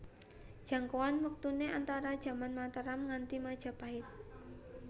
Jangkauan wektuné antara jaman Mataram nganti Majapait